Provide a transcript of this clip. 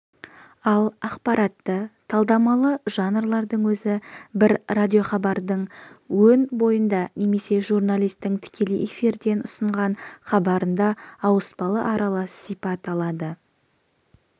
ал ақпаратты-талдамалы жанрлардың өзі бір радиохабардың өн бойында немесе журналистің тікелей эфирден ұсынған хабарында ауыспалы аралас сипат алады